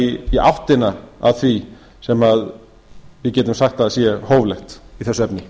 eitthvað í áttina að því sem við getum sagt að sé hóflegt í þessu efni